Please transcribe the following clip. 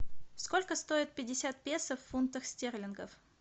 сколько стоит пятьдесят песо в фунтах стерлингов